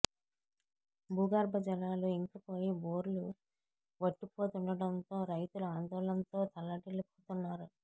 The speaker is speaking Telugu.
భూగర్భ జలా లు ఇంకిపోయి బోర్లు వట్టిపోతుండటంతో రైతులు ఆందోళనతో తల్లడిల్లి పోతున్నారు